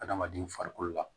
Adamaden farikolo la